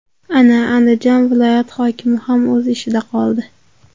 Ana, Andijon viloyat hokimi ham o‘z ishida qoldi.